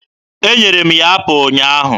Enyere m ya apụ ụnyaahụ.